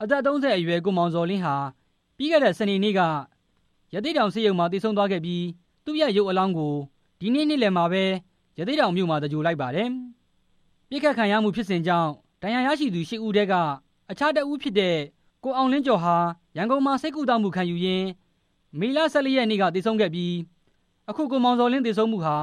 အသက် ၃၀ အရွယ် ကိုမောင်ဇော်လင်းဟာ ပြီးခဲ့တဲ့ စနေနေ့က ရသေ့တောင်ဆေးရုံမှာ သေဆုံးသွားပြီး သူ့ရဲ့ရုပ်အလောင်းကို ဒီနေ့ နေ့လယ်မှာပဲ ရသေ့တောင်မြို့မှာ သဂြိုၤဟ်လိုက်ပါတယ်။ ပစ်ခတ်ခံရမှုဖြစ်စဉ်ကြောင့် ဒဏ်ရာရသူ ရှစ်ဦးထဲက အခြားတစ်ဦးဖြစ်တဲ့ ကိုအောင်လင်းကျော်ဟာ ရန်ကုန်မှာ ဆေးကုသမှုခံယူရင်း မေလ ၁၄ ရက်နေ့က သေဆုံးခဲ့ပြီး အခု ကိုမောင်ဇော်လင်း သေဆုံးမှုဟာ